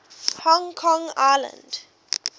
hong kong island